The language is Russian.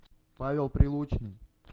павел прилучный